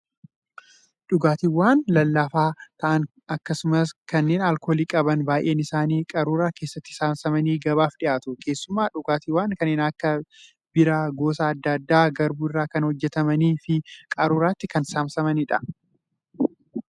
Dhugaatiiwwan lallaafaa ta'an akkasumas kanneen alkoolii qaban baay'een isaanii qaruuraa keessatti saamsamanii gabaaf dhiyaatu. Keessumaa dhugaatiiwwan kanneen akka biiraa gosa adda addaa garbuu irraa kan hojjatamanii fi qaruuraatti kan saamsamanidha.